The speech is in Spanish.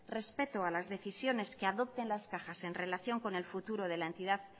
respeto a las decisiones que adopten las cajas en relación con el futuro de la entidad